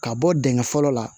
Ka bɔ dingɛ fɔlɔ la